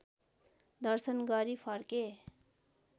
दर्शन गरी फर्के